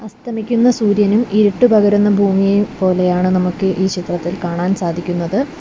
അസ്തമിക്കുന്ന സൂര്യനും ഇരുട്ട് പകരുന്ന ഭൂമിയെയും പോലെയാണ് നമുക്ക് ഈ ചിത്രത്തിൽ കാണാൻ സാധിക്കുന്നത്.